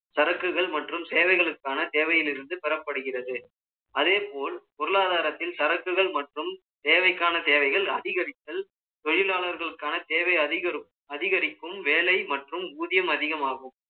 சரக்குகள் மற்றும் தேவைகளுக்கான தேவையில் இருந்து பெறப்படுகிறது அதேபோல் பொருளாதாரத்தில் சரக்குகள் மற்றும் தேவைக்கான தேவைகள் அதிகரித்தல் தொழிலாளர்களுக்கான தேவை அதிகரிக்கும் வேலை மற்றும் ஊதியம் அதிகமாகும்